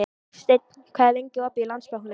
Steinn, hvað er lengi opið í Landsbankanum?